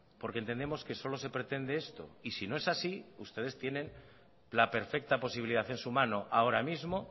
porque entendemos que solo se pretende esto y si no es así ustedes tienen la perfecta posibilidad en su mano ahora mismo